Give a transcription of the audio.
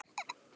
Ekki til.